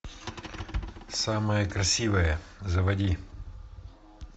самая красивая заводи